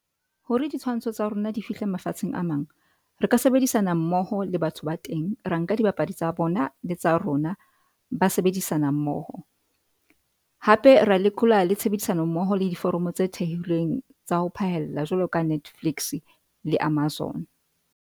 Hore ditshwantsho tsa rona di fihle mafatsheng a mang, re ka sebedisana mmoho le batho ba teng. Ra nka di bapadi tsa bona le tsa rona ba sebedisana mmoho. Hape ra lekola le tshebedisano mmoho le diforomo tse thehileng tsa ho phaella jwalo ka Netflix le Amazon.